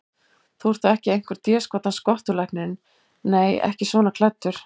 Þú ert þó ekki einhver déskotans skottulæknirinn. nei, ekki svona klæddur.